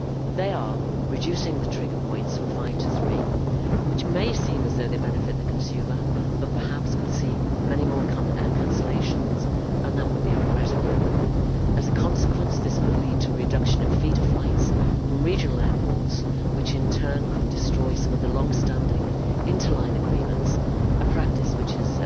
These include reducing the trigger points from five to three, which may seem to benefit the consumer but perhaps could see many more air cancellations, and that would be regrettable. As a consequence, this could lead to a reduction in feeder flights from regional airports, which in turn could destroy some of the long standing inter line agreements, a practice which has